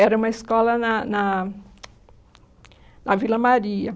Era uma escola na na na Vila Maria.